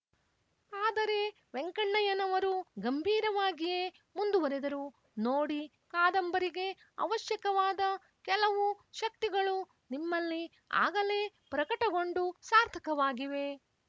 ಆದರೆ ವೆಂಕಣ್ಣಯ್ಯನವರು ಗಂಭೀರವಾಗಿಯೇ ಮುಂದುವರೆದರು ನೋಡಿ ಕಾದಂಬರಿಗೆ ಅವಶ್ಯಕವಾದ ಕೆಲವು ಶಕ್ತಿಗಳು ನಿಮ್ಮಲ್ಲಿ ಆಗಲೇ ಪ್ರಕಟಗೊಂಡು ಸಾರ್ಥಕವಾಗಿವೆ